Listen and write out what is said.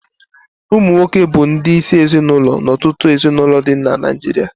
Ụmụnwoke bụ ndị isi ezinụlọ na ọtụtụ ezinụlọ dị na Naijiria